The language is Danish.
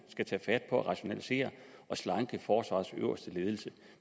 skal tage fat på at rationalisere og slanke forsvarets øverste ledelse